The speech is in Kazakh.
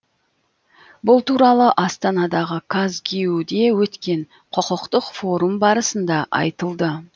бұл туралы астанадағы казгюу де өткен құқықтық форум барысында айтылды